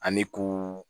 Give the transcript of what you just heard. An bɛ ko